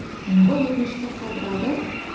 ол өтінішті қалдырады